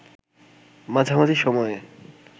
মাঝামাঝি সময়ে